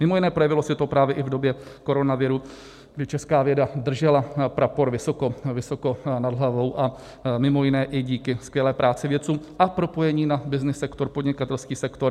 Mimo jiné, projevilo se to právě i v době koronaviru, kdy česká věda držela prapor vysoko, vysoko nad hlavou, a mimo jiné i díky skvělé práci vědců a propojení na byznys sektor, podnikatelský sektor.